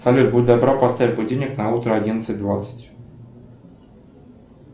салют будь добра поставь будильник на утро одиннадцать двадцать